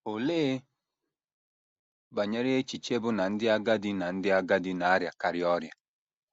Olee banyere echiche bụ́ na ndị agadi na ndị agadi na - arịakarị ọrịa?